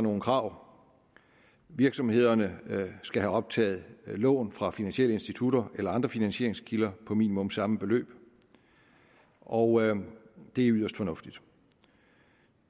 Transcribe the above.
nogle krav virksomhederne skal have optaget lån fra finansielle institutter eller andre finansieringskilder på minimum samme beløb og det er yderst fornuftigt